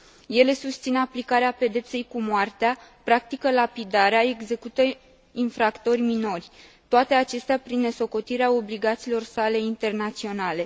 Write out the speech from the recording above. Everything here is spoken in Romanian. Ele susțin aplicarea pedepsei cu moartea, practică lapidarea, execută infractori minori, toate acestea prin nesocotirea obligațiilor sale internaționale.